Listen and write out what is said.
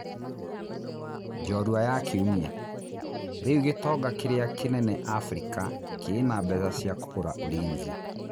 (njorua ya Kiumia) Rĩ u gĩ tonga kĩ rĩ a kĩ nene Afrika kĩ na mbeca cia kũgũra Ulinzi?